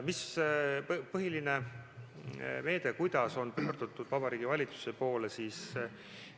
Mis on põhiline meede ja mis palvetega on pöördutud Vabariigi Valitsuse poole?